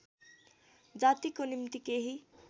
जातिको निम्ति केही